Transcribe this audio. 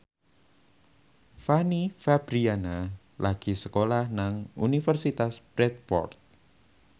Fanny Fabriana lagi sekolah nang Universitas Bradford